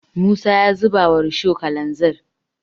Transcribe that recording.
musa ya zuba wa rusho kalanzir